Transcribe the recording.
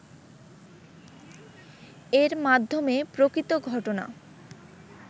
এর মাধ্যমে প্রকৃত ঘটনা